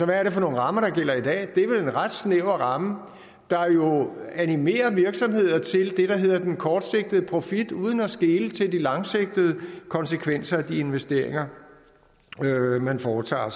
hvad er det for nogle rammer der gælder i dag det er vel en ret snæver ramme der animerer virksomhederne til det der hedder den kortsigtede profit uden at skele til de langsigtede konsekvenser af de investeringer man foretager